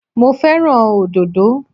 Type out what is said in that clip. Mo fẹ́ràn òdòdó